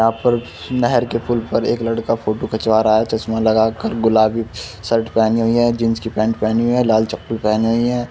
यहाँ पर नहर के पुल पर एक लड़का फ़ोटो खिंचवा रहा है। चश्मा लगा कर गुलाबी शर्ट पहनी हुई है। जीन्स की पैंट पहनी हुई है। लाल चप्पल पहनी हुई है।